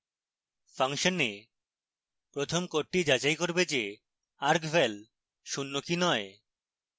ফাংশনে প্রথম code যাচাই করবে যে argval শূন্য কি নয়